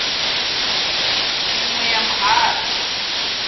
i ṅ we ya muhasho